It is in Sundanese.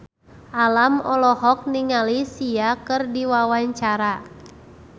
Alam olohok ningali Sia keur diwawancara